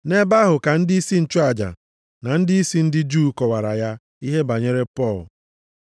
Nʼebe ahụ ka ndịisi nchụaja na ndịisi ndị Juu kọwara ya ihe banyere Pọl.